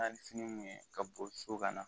sini min ye ka boli so ka na.